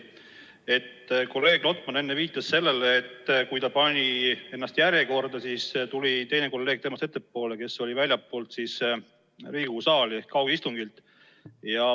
Kolleeg Lotman viitas enne sellele, et kui ta oli ennast järjekorda pannud, siis tuli tema ette teine kolleeg, kes viibib väljaspool Riigikogu saali ehk osaleb kaugistungil.